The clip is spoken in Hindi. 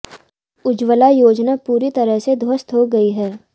उज्ज्वला योजना पूरी तरह से ध्वस्त हो गई है